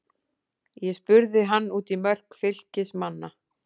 Ég spurði hann út í mörk Fylkismanna.